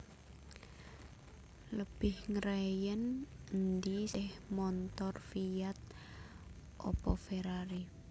Lebih ngreyen endi seh montor Fiat opo Ferrari